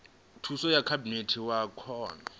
thuso ya khabinete wa kona